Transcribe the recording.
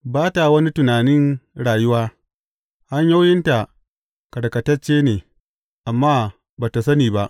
Ba ta wani tunanin rayuwa; hanyoyinta karkatacce ne, amma ba tă sani ba.